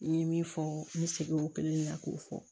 N ye min fɔ n bɛ segin o kelen de kan k'o fɔ